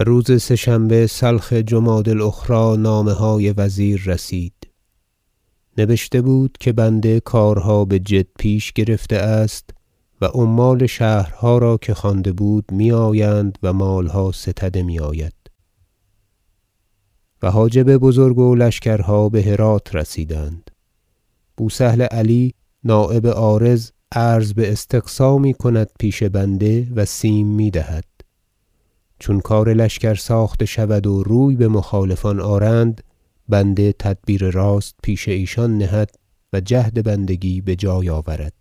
و روز سه شنبه سلخ جمادی الأخری نامه های وزیر رسید نبشته بود که بنده کارها بجد پیش گرفته است و عمال شهرها را که خوانده بود میآیند و مالها ستده میآید و حاجب بزرگ و لشکرها بهرات رسیدند بوسهل علی نایب عارض عرض باستقصا میکند پیش بنده و سیم میدهد چون کار لشکر ساخته شود و روی بمخالفان آرند بنده تدبیر راست پیش ایشان نهد و جهد بندگی بجای آورد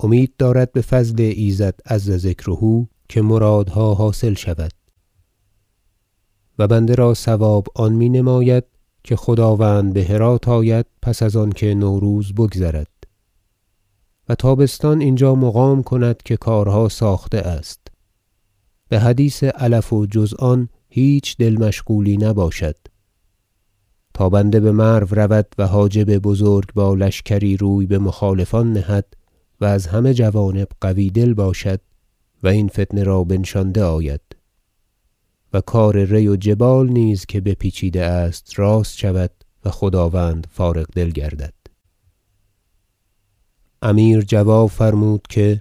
امید دارد بفضل ایزد عز ذکره که مرادها حاصل شود و بنده را صواب آن مینماید که خداوند بهرات آید پس از آنکه نوروز بگذرد و تابستان اینجا مقام کند که کارها ساخته است بحدیث علف و جز آن هیچ دل مشغولی نباشد تا بنده بمرو رود و حاجب بزرگ با لشکری روی بمخالفان نهد و از همه جوانب قوی دل باشد و این فتنه را بنشانده آید و کار ری و جبال نیز که بپیچیده است راست شود و خداوند فارغ دل گردد امیر جواب فرمود که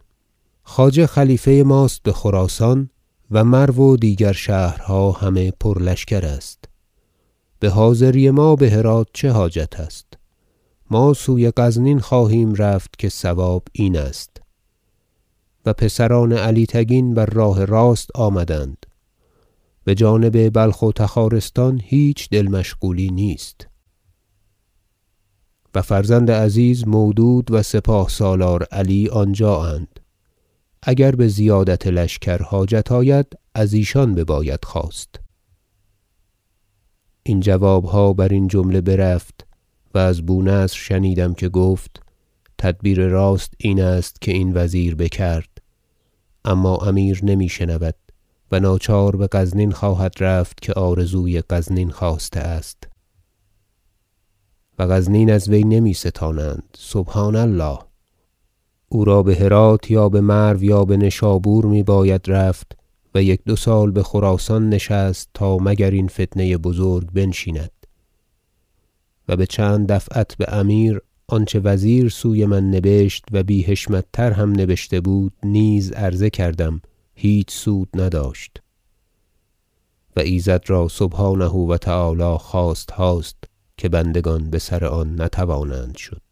خواجه خلیفه ماست بخراسان و مرو و دیگر شهرها همه پر لشکر است بحاضری ما بهرات چه حاجت است ما سوی غزنین خواهیم رفت که صواب این است و پسران علی تگین بر راه راست آمدند بجانب بلخ و تخارستان هیچ دل مشغولی نیست و فرزند عزیز مودود و سپاه سالار علی آنجااند اگر بزیادت لشکر حاجت آید از ایشان بباید خواست این جوابها برین جمله برفت و از بونصر شنیدم که گفت تدبیر راست این است که این وزیر بکرد اما امیر نمیشنود و ناچار بغزنین خواهد رفت که آرزوی غزنین خاسته است و غزنین از وی نمیستانند سبحان الله او را بهرات یا بمرو یا بنشابور می باید رفت و یک دو سال بخراسان نشست تا مگر این فتنه بزرگ بنشیند و بچند دفعت بامیر آنچه وزیر سوی من نبشت و بی حشمت تر هم نبشته بود نیز عرضه کردم هیچ سود نداشت و ایزد را سبحانه و تعالی خواستهاست که بندگان بسر آن نتوانند شد